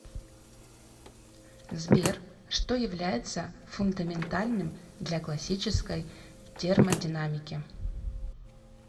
сбер что является фундаментальным для классической термодинамики